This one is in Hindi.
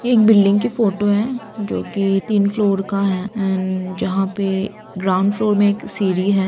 ये एक बिल्डिंग की फोटो है जो कि तीन फ्लोर का है एंड जहाँ पे ग्राउंड फ्लोर में एक सीढ़ी है।